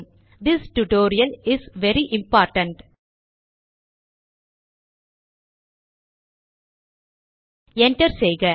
this tutorial is very important enter செய்க